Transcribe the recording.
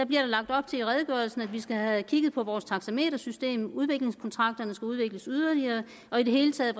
bliver lagt op til at vi skal have kigget på vores taxametersystem ligesom udviklingskontrakterne skal udvikles yderligere og i det hele taget